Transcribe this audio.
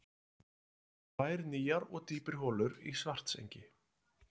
Boraðar tvær nýjar og dýpri holur í Svartsengi